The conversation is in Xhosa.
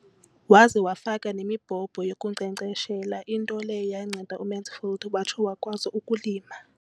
Waza wafaka nemibhobho yokunkcenkceshela, into leyo yanceda uMansfield watsho wakwazi ukulima.